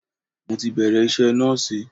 Mo ti bẹ̀rẹ̀ iṣẹ́ nọ́ọ̀sì.